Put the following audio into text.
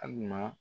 Hali ma